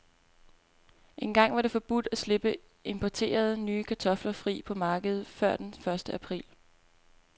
Engang var det forbudt at slippe importerede, nye kartofler fri på markedet før den første april.